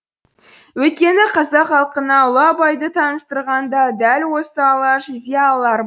өйткені қазақ халқына ұлы абайды таныстырған да дәл осы алаш зиялылары